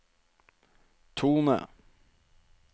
tone